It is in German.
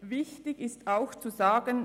Wichtig zu sagen ist ebenfalls: